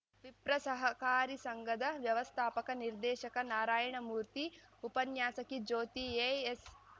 ವಿಪ್ರ ಸಹಕಾರಿಸಂಘದ ವ್ಯವಸ್ಥಾಪಕ ನಿರ್ದೇಶಕ ನಾರಾಯಣಮೂರ್ತಿ ಉಪನ್ಯಾಸಕಿ ಜ್ಯೋತಿ ಎ ಎಸ್‌